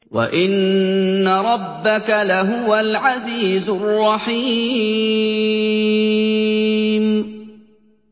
وَإِنَّ رَبَّكَ لَهُوَ الْعَزِيزُ الرَّحِيمُ